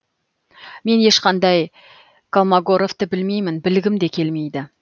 мен ешқандай колмогоровты білмеймін білгім де келмейді